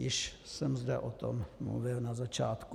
Již jsem zde o tom mluvil na začátku.